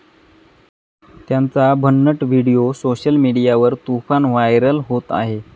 त्यांचा भन्नट video social मीडियावर तुफान व्हायरल होत आहे.